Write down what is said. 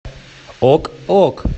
ок ок